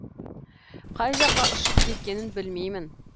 қай жаққа ұшып кеткенін білмеймін